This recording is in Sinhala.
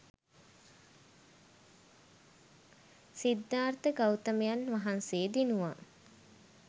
සිද්ධාර්ථ ගෞතමයන් වහන්සේ දිනුවා.